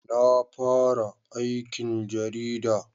Na fara aikin jarida